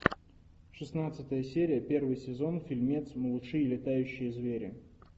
шестнадцатая серия первый сезон фильмец малыши и летающие звери